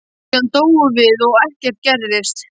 Síðan dóum við og ekkert gerðist.